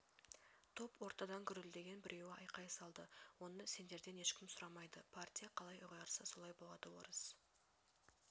топ ортадан гүрілдеген біреуі айқай салды оны сендерден ешкім сұрамайды партия қалай ұйғарса солай болады орыс